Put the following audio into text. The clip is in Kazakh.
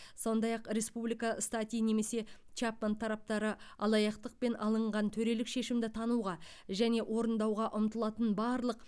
сондай ақ республика стати немесе чапман тараптары алаяқтықпен алынған төрелік шешімді тануға және орындауға ұмтылатын барлық